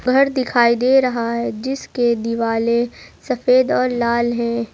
घर दिखाई दे रहा है जिसके दीवाले सफेद और लाल है।